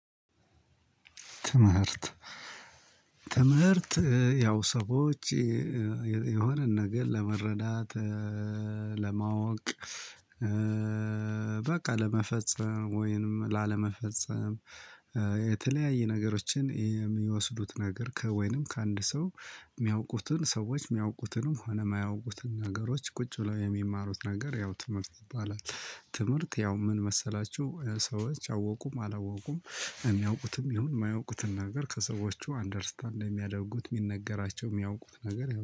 ትምህርት ትምህርት ያው ሰዎች የሆነ ነገር ለመረዳት ለማወቅ በቃ ለመፈጸም ወይንም ላለመፈጸም የተለያየ ነገሮችን የሚወስዱት ነገር ከወይንም ከአንድ ሰው እሚያውቁትን ሰዎች እሚያውቁትንም ሆነ እማያውቁትን ነገሮች ቁጭ ብለው የሚማሩት ነገር ያው ትምህርት ይባላል። ትምህርት ያው ምን መሰላችሁ ሰዎች አወቁም አላወቁም እሚያውቁትም ይሁን እማያውቁትን ነገር ከሰዎቹ አንደርስታንድ የሚያደርጉት እሚነገራቸው እሚያውቁት ነገር